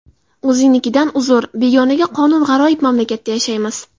O‘zingnikidan uzr, begonaga qonun G‘aroyib mamlakatda yashaymiz.